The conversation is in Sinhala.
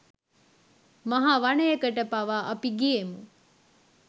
මහ වනයකට පවා අපි ගියෙමු